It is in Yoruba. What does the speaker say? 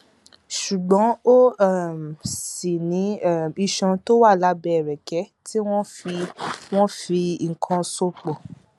ṣùgbọn ó um ṣì ní um iṣan tó wà lábẹ ẹrẹkẹ tí wọn fi wọn fi nǹkan so pọ